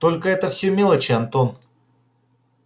только это всё мелочи антон